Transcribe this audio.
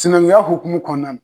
Sinankunya hokumu kɔɔna n